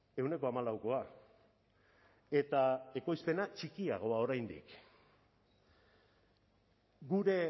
ehuneko hamalaukoa eta ekoizpena txikiagoa oraindik gure